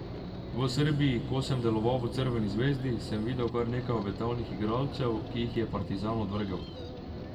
V Srbiji, ko sem deloval v Crveni zvezdi, sem videl kar nekaj obetavnih igralcev, ki jih je Partizan odvrgel.